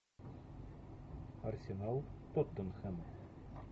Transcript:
арсенал тоттенхэм